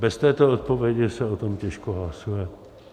Bez této odpovědi se o tom těžko hlasuje.